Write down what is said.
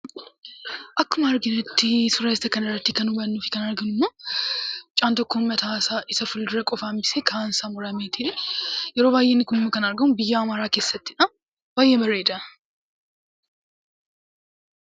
Akkuma hubannutti suuraa kanarratti kan arginuu fi kan hubannu mucaan tokko mataasaa isa fuulduraa qofaa hambisee kaansaa murameeti. Yeroo baay'ee inni kun kan argamu biyya amaaraa kessattidha. Baay'ee bareeda.